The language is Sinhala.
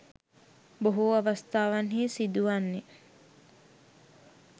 බොහෝ අවස්ථාවන්හි සිදුවන්නේ